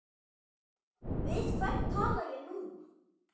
Við hvern tala ég nú?